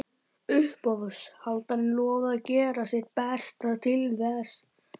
Uppboðshaldarinn lofaði að gera sitt besta til þess.